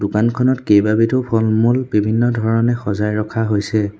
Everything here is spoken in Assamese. দোকানখনত কেইবাবিধো ফল-মূল বিভিন্ন ধৰণে সজাই ৰখা হৈছে।